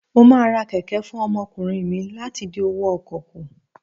Mo máa ra kẹ̀kẹ́ fún ọmọkùnrin mi láti dín owó ọkọ̀ kù.